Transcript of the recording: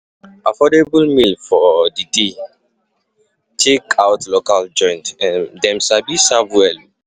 Affordable meal for the day Check out local food joint, them sabi serve well.